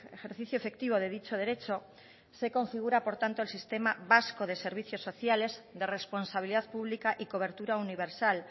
ejercicio efectivo de dicho derecho se configura por tanto el sistema vasco de servicios sociales de responsabilidad pública y cobertura universal